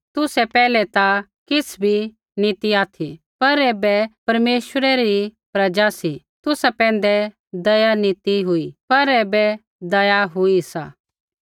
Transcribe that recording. तुसै पैहलै ता किछ़ भी नी ती ऑथि पर ऐबै परमेश्वरै री प्रजा सी तुसा पैंधै दया नी ती हुई ती पर ऐबै दया हुई सा